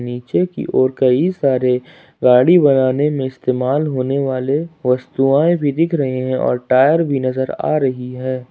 नीचे की ओर कई सारे गाड़ी बनाने में इस्तेमाल होने वाले वस्तुआए भी दिख रही हैं और टायर भी नजर आ रही है।